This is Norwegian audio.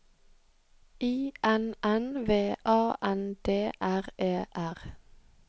I N N V A N D R E R